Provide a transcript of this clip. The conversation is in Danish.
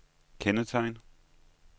kendetegn